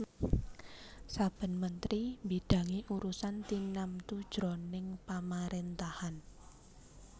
Saben mentri mbidangi urusan tinamtu jroning pamaréntahan